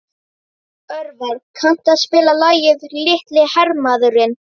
Örvar, kanntu að spila lagið „Litli hermaðurinn“?